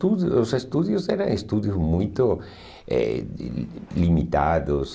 estú os estúdios eram muito eh limitados.